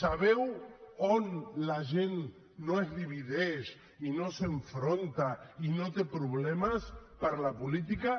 sabeu on la gent no es divideix i no s’enfronta i no té problemes per la política